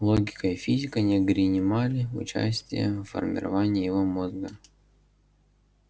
логика и физика не ггринимали участия в формировании его мозга